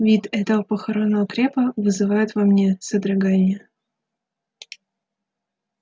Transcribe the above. вид этого похоронного крепа вызывает во мне содрогание